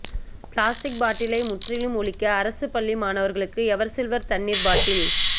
plastic பாட்டிலை முற்றிலும் ஒழிக்க அரசு பள்ளி மாணவர்களுக்கு எவர்சில்வர் தண்ணீர் பாட்டில்